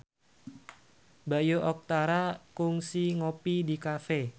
Bayu Octara kungsi ngopi di cafe